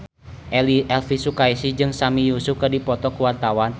Elvy Sukaesih jeung Sami Yusuf keur dipoto ku wartawan